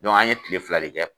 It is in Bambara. Dɔnku an ye kile fila de kɛ